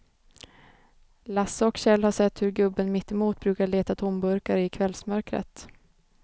Lasse och Kjell har sett hur gubben mittemot brukar leta tomburkar i kvällsmörkret.